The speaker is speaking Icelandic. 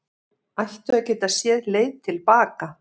Ættu að geta séð leið til baka